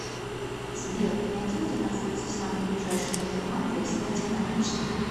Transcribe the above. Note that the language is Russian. сбер найди где находится самый ближайший банкомат для снятия наличных